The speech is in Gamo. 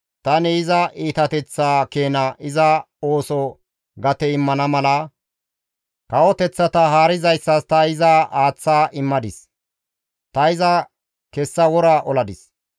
tani iza iitateththaa keena iza ooso gate immana mala kawoteththata haarizayssas ta iza aaththa immadis. Ta iza kessa wora oladis.